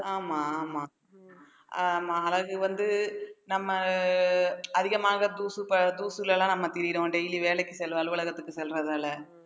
ஆமா ஆமா ஆமா அழகு வந்து நம்ம அதிகமாக தூசு ப~ தூசுலலாம் நம்ம திரியிறோம் daily வேலைக்கு செல்வ~ அலுவலகத்துக்கு செல்றதால